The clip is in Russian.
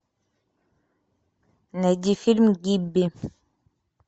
найди фильм гибби